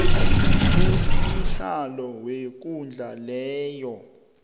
usihlalo wekundla leyo